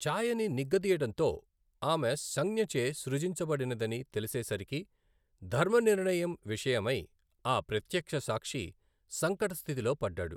చాయని నిగ్గ దీయడంతో ఆమె సంజ్ఞచే సృజించబడినదని తెలిసేసరికి, ధర్మనిర్ణయం విషయమై అ ప్రత్యక్షసాక్షి సంకట స్థితిలో పడ్డాడు.